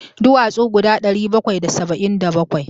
Duwatsu guda ɗari bakwai da saba'in da bakwai.